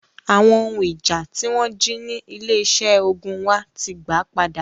Awon ohun ija ti won ji ni ile ise ogun wa ti gba pada.